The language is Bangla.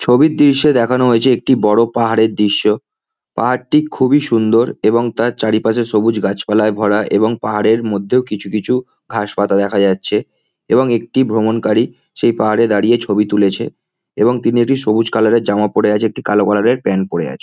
ছবির দৃশ্যে দেখানো হয়েছে একটি বড় পাহাড়ের দৃশ্য পাহাড়টি খুবই সুন্দর এবং তার চারিপাশে সবুজ ঘাসপালা গাছ পালায় ভরা এবং পাহাড়ের মধ্যেও কিছু কিছু ঘাস পাতা দেখা যাচ্ছে এবং একটি ভ্রমণকারী সেই পাহাড়ে দাঁড়িয়ে ছবি তুলেছে এবং তিনি একটি সবুজ কালার এর জামা পড়ে আছে একটি কালো কালার এর প্যান্ট পড়ে আছে।